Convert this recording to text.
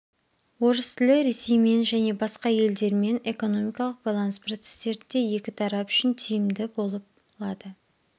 орыс тілі ресеймен және басқа елдерімен экономикалық байланыс процестерінде екі тарап үшін тиімді болып лады